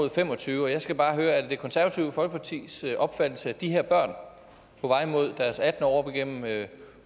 og fem og tyve og jeg skal bare høre er det det konservative folkepartis opfattelse at de her børn på vej mod deres attende år op igennem